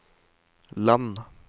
land